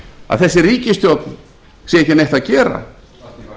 að þessi ríkisstjórn sé ekki neitt að